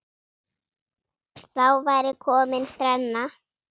Þá væri komin þrenna.